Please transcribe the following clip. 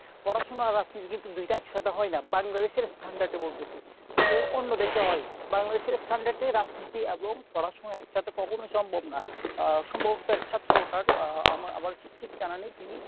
পড়াশুনা আর রাজনীতি কিন্তু দুইটা একসাথে হয় না। Bangladesh এর standard এ বলতেছি। অ~ অন্য দেশে হয় Bangladesh এ standard এ রাজনীতি এবং পড়াশুনো কখনোই একসাথে সম্ভব না। আহ আমার আমার ঠিক জানা নেই। তিনি